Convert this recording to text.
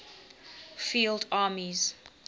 field armies